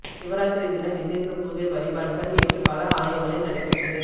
சிவராத்திரி தின விசேட பூஜை வழிபாடுகள் நேற்று பல ஆலயங்களில் நடைபெற்றது